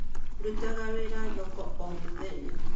Ndutaga wĩra thoko o mũthenya